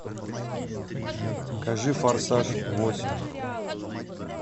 покажи форсаж восемь